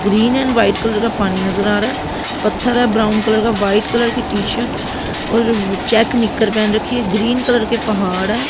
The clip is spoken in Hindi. ग्रीन एंड व्हाइट कलर का पानी नजर आ रहा है पत्थर है ब्राउन कलर का वाइट कलर की टी शर्ट और चेक निक्कर पहन रखी है ग्रीन कलर के पहाड़ हैं।